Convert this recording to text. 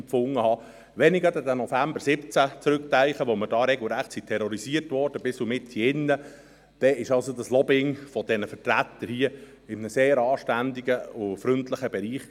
Gerade wenn ich an den November 2017 zurückdenke, als wir bis in diesen Saal hinein regelrecht terrorisiert wurden, dann liegt das Lobbying dieser Vertreter diesmal in einem sehr anständigen und freundlichen Bereich.